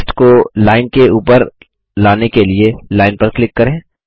text को line के ऊपर लाने के लिए लाइन पर क्लिक करें